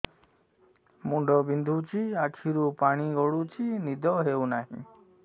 ମୁଣ୍ଡ ବିନ୍ଧୁଛି ଆଖିରୁ ପାଣି ଗଡୁଛି ନିଦ ହେଉନାହିଁ